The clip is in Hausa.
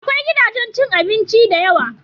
Akwai gidajen cin abinci da yawa